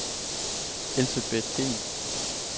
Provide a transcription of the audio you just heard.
Elsebet Dehn